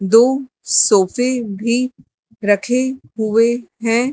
दो सोफे भी रखे हुए हैं।